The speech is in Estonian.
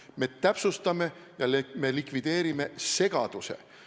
Me täpsustame ja likvideerime segaduse.